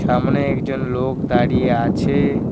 সামোনে একজন লোক দাঁড়িয়ে আছে।